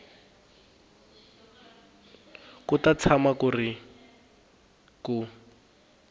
ku ta tshama ku ri